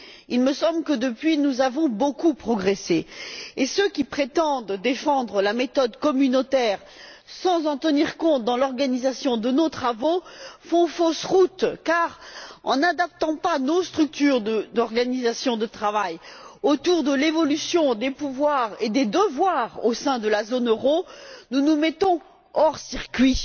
Il me semble que, depuis, nous avons beaucoup progressé. Ceux qui prétendent défendre la méthode communautaire sans en tenir compte dans l'organisation de nos travaux font fausse route car, en n'adaptant pas nos structures d'organisation de travail autour de l'évolution des pouvoirs et des devoirs au sein de la zone euro, nous nous mettons hors circuit.